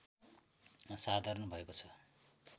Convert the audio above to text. साधारण भएको छ